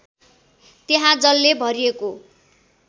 त्यहाँ जलले भरिएको